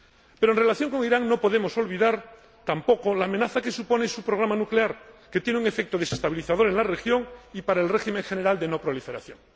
Pero, en relación con Irán, no podemos olvidar tampoco la amenaza que supone su programa nuclear, que tiene un efecto desestabilizador en la región y para el régimen general de no proliferación.